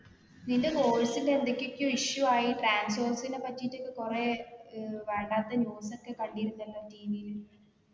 നിന്റെ course ന്റെ എന്തൊകൊക്കോ issue ആയി transorze നെ പറ്റിട്ട് ഒക്കെ കൊറേ ഏർ വേണ്ടാത്ത news ഒക്കെ കണ്ടീരുന്നല്ലോ TV ല്